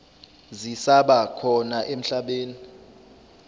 zisaba khona emhlabeni